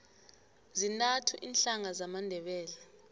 zintathu iinhlanga zamandebele